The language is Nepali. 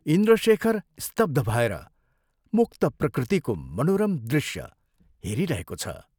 इन्द्रशेखर स्तब्ध भएर मुक्त प्रकृतिको मनोरम दृश्य हेरिरहेको छ।